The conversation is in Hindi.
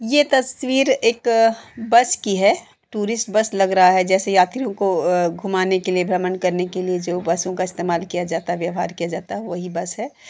यह तस्वीर एक बस की है। टूरिस्ट बस लग रहा है जैसे यात्रियों को घुमाने के लिए भ्रमण करने के लिए जो बसों का इस्तेमाल किया जाता व्यवहार किया जाता वही बस है।